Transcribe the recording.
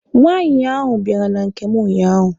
Nwaanyị ahụ bịara na nke m unyaahụ.